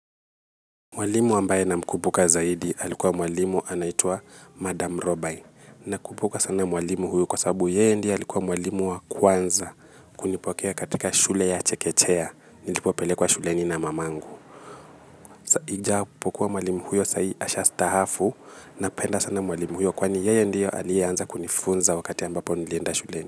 Mwalimu ambaye namkumbuka zaidi alikuwa mwalimu anaitwa Madam Robae. Nakumbuka sana mwalimu huyo kwa sababu yeye ndiye alikuwa mwalimu wa kwanza. Kunipokea katika shule ya Chekechea Nilipopelekwa shuleni na mamangu. Ijapokuwa mwalimu huyo saa hii ashastahafu. Napenda sana mwalimu huyo kwani yeye ndiye aliyeanza kunifunza wakati ambapo nilienda shuleni.